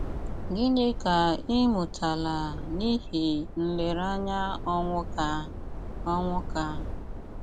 Gịní ká í mụtálá n’íhé nléréányá Ónwúká? Ónwúká?